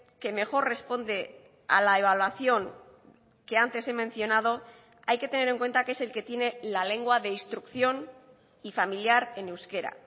que mejor responde a la evaluación que antes he mencionado hay que tener en cuenta que es el que tiene la lengua de instrucción y familiar en euskera